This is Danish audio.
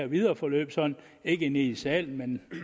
videre forløb ikke inde i salen men